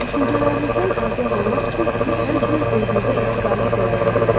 Düşüncələrinizdən agah olmaq üçün siz həmçinin özünüzə istiqamət də yarada bilərsiz.